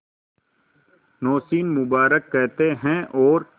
नौशीन मुबारक कहते हैं और